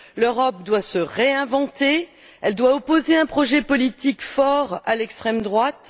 L'Europe doit se réinventer, elle doit opposer un projet politique fort à l'extrême droite.